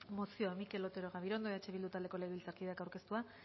mozioa mikel otero gabirondo eh bildu taldeko legebiltzarkideak aurkeztua